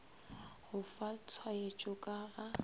go fa tshwaetšo ka ga